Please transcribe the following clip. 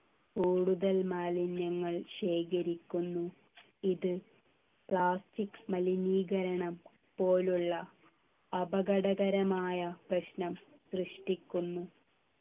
കൂടുതൽ മാലിന്യങ്ങൾ ശേഖരിക്കുന്നു ഇത് plastic മലിനീകരണം പോലുള്ള അപകടകരമായ പ്രശ്നം സൃഷ്ടിക്കുന്നു